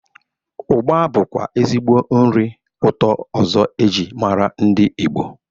Ụgba bụkwa ezigbo nri ụtọ ọzọ e jirimara ndị Igbo.